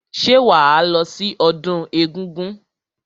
Ṣé wàá lọ sí ọdún egúngún?